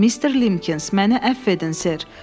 Mister Limkins, məni əfv edin Ser.